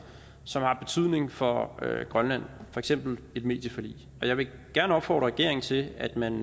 som har betydning for grønland for eksempel et medieforlig og jeg vil gerne opfordre regeringen til at man